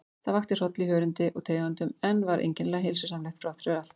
Það vakti hroll í hörundi og taugaendum, en var einkennilega heilsusamlegt þráttfyrir allt.